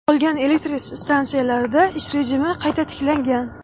qolgan elektr stansiyalarda ish rejimi qayta tiklangan.